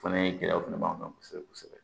O fana ye gɛlɛyaw fana b'an kan kosɛbɛ kosɛbɛ